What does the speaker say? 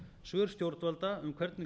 svör stjórnvalda um hvernig